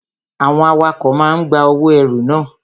Àwọn awakọ̀ máa ń gba owó ẹrù na.